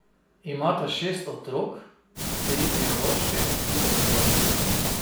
Imata šest otrok, tri biološke in tri posvojene.